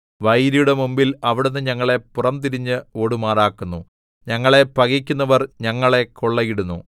വൈരിയുടെ മുമ്പിൽ അവിടുന്ന് ഞങ്ങളെ പുറംതിരിഞ്ഞ് ഓടുമാറാക്കുന്നു ഞങ്ങളെ പകക്കുന്നവർ ഞങ്ങളെ കൊള്ളയിടുന്നു